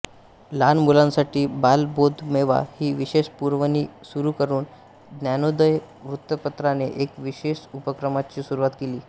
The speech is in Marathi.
लहान मुलांसाठी बालबोधमेवा ही विशेष पुरवणी सुरू करून ज्ञानोदय वृत्तपत्राने एका विशेष उपक्रमाची सुरुवात केली